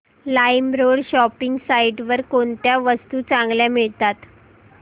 LimeRoad shopping site वर कोणत्या वस्तू चांगल्या मिळतात